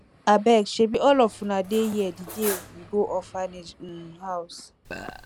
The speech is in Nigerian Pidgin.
abeg shebi all of una dey here the day we go orphanage um house